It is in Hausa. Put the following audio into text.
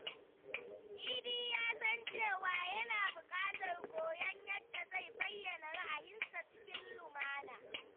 Idi ya san cewa yana buƙatar koyon yadda zai bayyana ra’ayinsa cikin lumana.